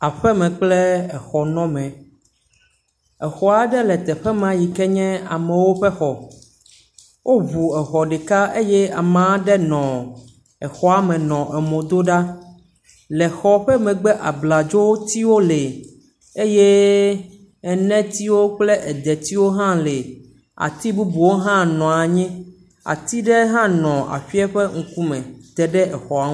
Aƒe me kple exɔnɔme, exeaɖe le teƒe me yi ke nye amewo ƒe xɔ woŋu exɔ ɖeka eye ame aɖe le eme le ŋkume dom ɖa, le xɔ ƒe megbe abladzotiwo lee eye enetiwo kple edetiwo lee ati bubuwo hã nɔ anyi. Ati bubu wo hã nɔ anyi. Ati ɖe hã nɔ aƒe a ƒe ŋkume te ɖe exɔa ŋu